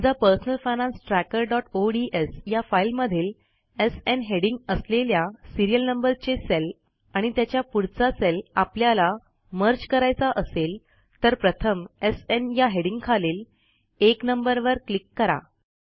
समजा personal finance trackerओडीएस या फाईलमधील एसएन हेडिंग असलेल्या सिरीयल नंबरचे सेल आणि त्याच्या पुढचा सेल आपल्याला मर्ज करायचा असेल तर प्रथम एसएन या हेडिंगखालील १ नंबरवर क्लिक करा